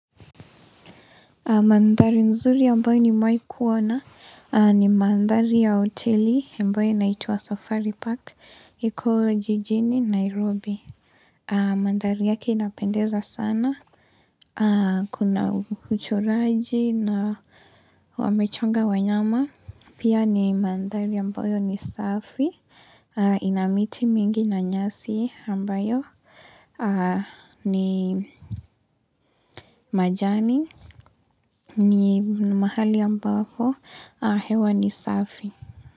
Mandhari nzuri ambayo nimewahi kuona ni mandhari ya hoteli ambayo inaituwa safari Park iko jijini Nairobi. Mandhari yake inapendeza sana. Kuna uchoraji na wamechonga wanyama. Pia ni mandhari ambayo ni safi. Ina miti mingi na nyasi ambayo ni majani. Ni mahali ambao hewa ni safi.